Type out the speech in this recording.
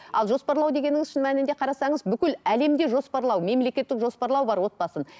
ал жоспарлау дегеніңіз шын мәнінде қарасаңыз бүкіл әлемде жоспарлау мемлекеттік жоспарлау бар отбасын